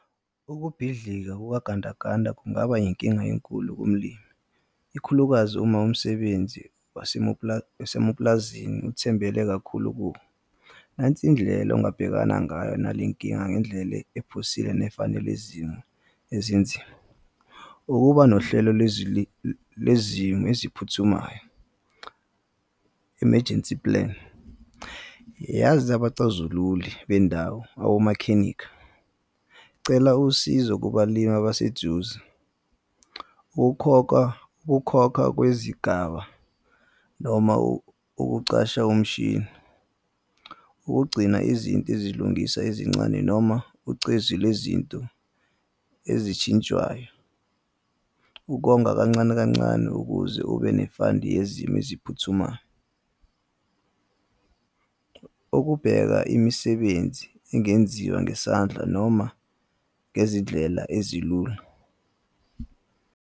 Ukubhidlika kukagandaganda kungaba yinkinga enkulu kumlimi. Ikhulukazi uma umsebenzi wasemapulazini uthembele kakhulu . Nansi indlela ongabhekana ngayo nale nkinga ngendlela ephusile nefanele izimo ezinzima, ukuba nohlelo lwezimo eziphuthumayo, emergency plan. Yazi abacazululi bendawo awomakhenikha. Cela usizo kubalimi abaseduze, ukukhokhwa ukukhokha kwezigaba noma ukucasha umshini. Ukugcina izinto ezilungisa ezincane noma ucezu lwezinto ezitshintshwayo. Ukonga kancane kancane ukuze ube ne-fund yezimo eziphuthumayo. Ukubheka imisebenzi engenziwa ngesandla noma ngezindlela ezilula.